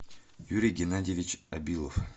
юрий геннадьевич абилов